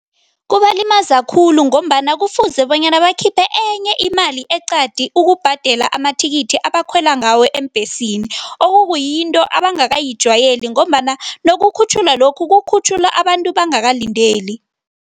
Kubalimaza khulu ngombana kufuze bonyana bakhiphe enye imali eqadi ukubhadela amathikithi abakhwela ngawo eembhesini, okukuyinto abangakayijwayeli ngombana nokukhutjhulwa lokhu, kukhutjhulwa abantu bangakalindeli.